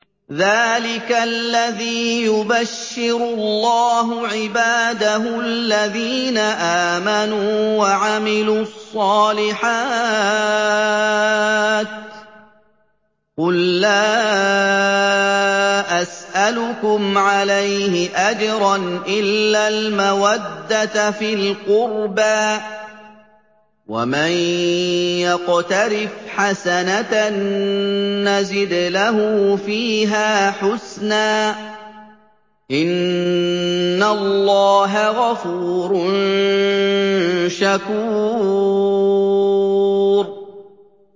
ذَٰلِكَ الَّذِي يُبَشِّرُ اللَّهُ عِبَادَهُ الَّذِينَ آمَنُوا وَعَمِلُوا الصَّالِحَاتِ ۗ قُل لَّا أَسْأَلُكُمْ عَلَيْهِ أَجْرًا إِلَّا الْمَوَدَّةَ فِي الْقُرْبَىٰ ۗ وَمَن يَقْتَرِفْ حَسَنَةً نَّزِدْ لَهُ فِيهَا حُسْنًا ۚ إِنَّ اللَّهَ غَفُورٌ شَكُورٌ